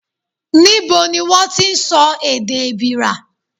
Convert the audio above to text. Níbo ni wón ti ń sọ èdè Èbìrà?